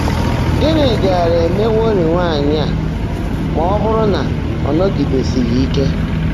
Gị́ní gáárá èméwọ́rị́ nwáanyị́ á má ọ́ bụ́rụ́ ná ọ́ nọ́gídèsị́ghị́ íke?